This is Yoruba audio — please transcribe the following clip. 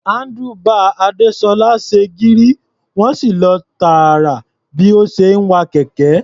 Handlebar Adésọ́lá ṣe gírí, wọ́n sì lọ tààrà bí ó ṣe ń wa kẹ̀kẹ́.